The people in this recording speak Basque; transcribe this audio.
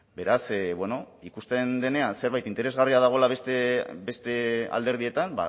beraz bueno ikusten denean zerbait interesgarria dagoela beste alderdietan